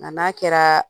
Nka n'a kɛra